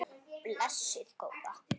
Blessuð góða.